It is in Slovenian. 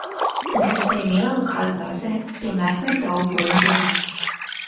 In ker sta imela lokal zase, je Mehmet dal bolj na glas.